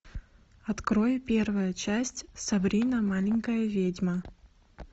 открой первая часть сабрина маленькая ведьма